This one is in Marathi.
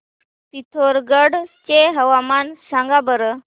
पिथोरगढ चे हवामान सांगा बरं